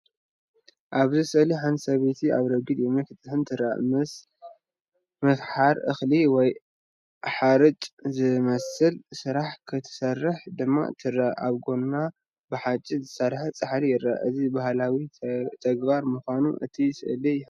ኣብዚ ስእሊ ሓንቲ ሰበይቲ ኣብ ረጒድ እምኒ ክትጥሕን ትርአ። ምስ ምፍሓር እኽሊ ወይ ሓርጭ ዝመሳሰል ስራሕ ክትሰርሕ ድማ ትርአ። ኣብ ጎና ብሓጺን ዝተሰርሐ ጻሕሊ ይርአ። እዚ ባህላውን ተግባር ምዃኑ እቲ ስእሊ ይሕብር።